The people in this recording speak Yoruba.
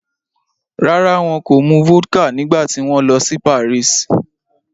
Rárá, wọn kò mu vodka nígbà tí wọ́n lọ sí Paris